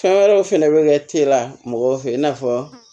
Fɛn wɛrɛw fɛnɛ bɛ kɛ teliya mɔgɔw fɛ in n'a fɔ